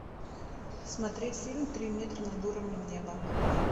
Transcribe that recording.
смотреть фильм три метра над уровнем неба